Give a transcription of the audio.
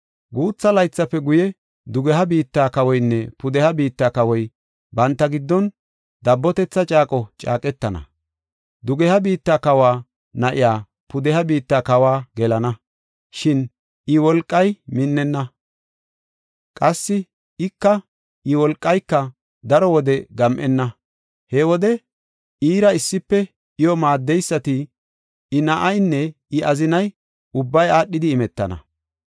Guutha laythafe guye, dugeha biitta kawoynne pudeha biitta kawoy banta giddon dabbotetha caaqo caaqetana. Dugeha biitta kawa na7iya pudeha biitta kawa gelana; shin I wolqay minnenna; qassi ika iya wolqayka daro wode gam7enna. He wode, iira issife, iyo maaddeysati, I na7aynne I azinay, ubbay aadhidi imetana.